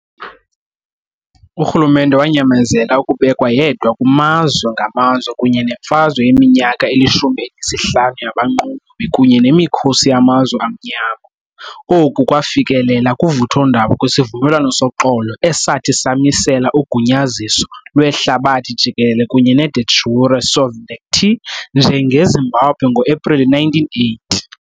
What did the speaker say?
Urhulumente wanyamezela ukubekwa yedwa kumazwe ngamazwe kunye nemfazwe yeminyaka eli-15 yabanqolobi kunye nemikhosi yamazwe amnyama, oku kwafikelela kuvuthondaba kwisivumelwano soxolo esathi samisela ugunyaziso lwehlabathi jikelele kunye ne de jure sovereignty njengeZimbabwe ngoAprili 1980.